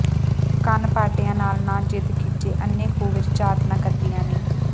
ਕੰਨ ਪਾਟਿਆਂ ਨਾਲ ਨਾ ਜ਼ਿਦ ਕੀਚੇ ਅੰਨ੍ਹੇ ਖੂਹ ਵਿੱਚ ਝਾਤ ਨਾ ਘੱਤੀਏ ਨੀ